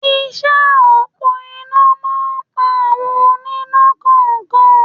Iṣẹ́ òpó iná máa ń pa àwọn oníná kọ̀ọ̀kan